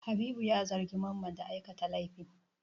Habibu ya zargi Mamma da aikata laifi.